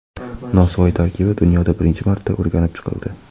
Nosvoy tarkibi dunyoda birinchi marta o‘rganib chiqildi.